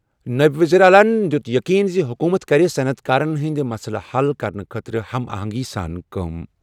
نٲیِب ؤزیٖرِ اعلیٰ یَن دِیُت یقین زِ حکوٗمت کَرِ صنعت کارن ہٕنٛدۍ مسلہٕ حل کرنہٕ خٲطرٕ قریبی ہم آہنگی سۭتۍ کٲم۔